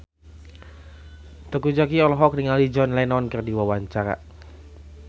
Teuku Zacky olohok ningali John Lennon keur diwawancara